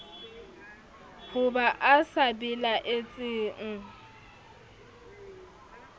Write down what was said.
ho ba e sa belaetseng